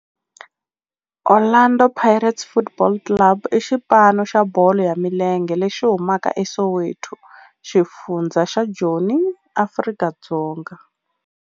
Orlando Pirates Football Club i xipano xa bolo ya milenge lexi humaka eSoweto, xifundzha xa Joni, Afrika-Dzonga.